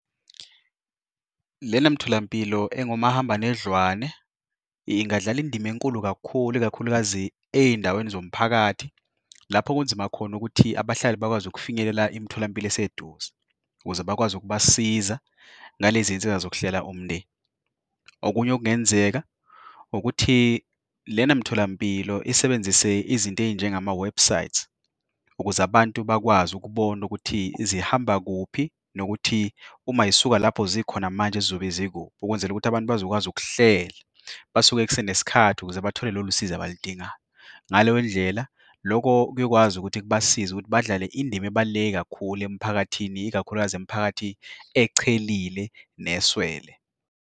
Lena mtholampilo engomahamba nendlwane ingadlala indima enkulu kakhulu, ikakhulukazi ezindaweni zomphakathi lapho kunzima khona ukuthi abahlali bakwazi ukufinyelela imitholampilo eseduze ukuze bakwazi ukubasiza ngalezi zinsiza zokuhlela umndeni. Okunye okungenzeka ukuthi lena mtholampilo isebenzise izinto ezinjengama webhusayithi ukuze abantu bakwazi ukubona ukuthi zihamba kuphi nokuthi uma zisuka lapho zikhona manje zizobe zikuphi, ukwenzela ukuthi abantu bazokwazi ukuhlela basuka kusenesikhathi ukuze bathole lolu sizo abaludingayo. Ngaleyondlela, lokho kuyokwazi ukuthi basize ukuthi badlale indima ebaluleke kakhulu emphakathini, ikakhulukazi imiphakathi echelile neswele.